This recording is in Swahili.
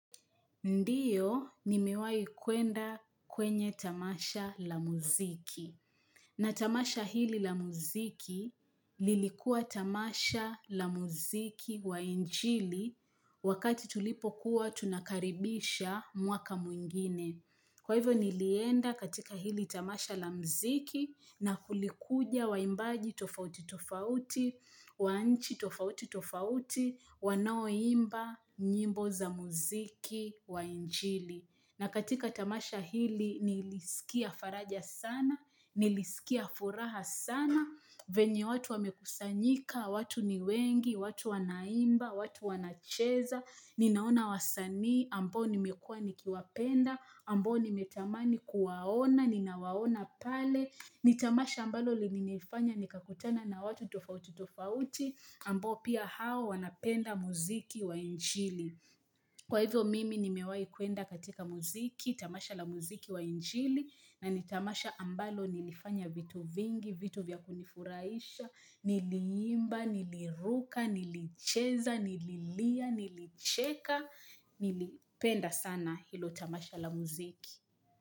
Ndio, nimewai kuenda kwenye tamasha la muziki. Na tamasha hili la muziki lilikua tamasha la muziki wa injili wakati tulipo kuwa tunakaribisha mwaka mwingine. Kwa hivyo nilienda katika hili tamasha lamziki na kulikuja wa imbaji tofauti tofauti, wanchi tofauti tofauti, wanao imba, nyimbo za muziki, wa injili. Na katika tamasha hili nilisikia faraja sana, nilisikia furaha sana, venye watu wamekusanyika, watu ni wengi, watu wanaimba, watu wanacheza, ninaona wasanii, ambo nimekua nikiwapenda, ambo nimetamani kuwaona, ninawaona pale, nitamasha ambalo lini nifanya nikakutana na watu tofauti tofauti, ambo pia hao wanapenda muziki wa injili. Kwa hivyo mimi ni mewai kuenda katika muziki, tamasha la muziki wa injili na nitamasha ambalo nilifanya vitu vingi, vitu vya kunifuraisha, niliimba, niliruka, nilicheza, nililia, nilicheka, nilipenda sana hilo tamasha la muziki.